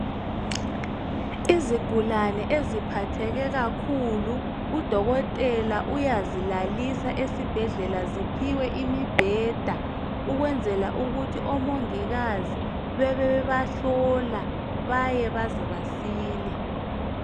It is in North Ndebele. Izigulani eziphatheke kakhulu udokotela uyazilalisa esibhedlela ziphiwe umbheda ukwenzela ukuthi omongikazi babe bebahlola baze basile.